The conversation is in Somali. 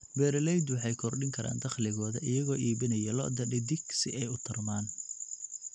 Beeraleydu waxay kordhin karaan dakhligooda iyagoo iibinaya lo'da dhedig si ay u tarmaan.